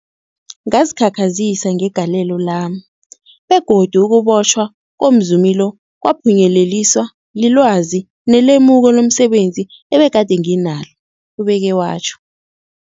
Ngazikhakhazisa ngegalelo lami, begodu ukubotjhwa komzumi lo kwaphunyeleliswa lilwazi nelemuko lomse benzi ebegade nginalo, ubeke watjho.